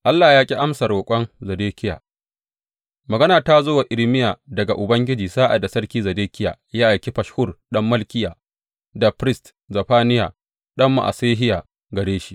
Allah ya ƙi amsa roƙon Zedekiya Magana ta zo wa Irmiya daga Ubangiji sa’ad da Sarki Zedekiya ya aiki Fashhur ɗan Malkiya da firist Zefaniya ɗan Ma’asehiya gare shi.